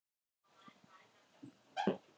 Kafbátsforinginn bað félaga hans að ganga út um stund.